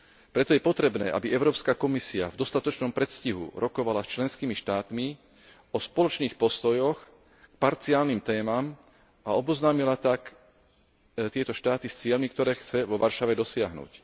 Preto je potrebné, aby Európska komisia v dostatočnom predstihu rokovala s členskými štátmi o spoločných postojoch k parciálnym témam a oboznámila tak tieto štáty s cieľmi, ktoré chce vo Varšave dosiahnuť.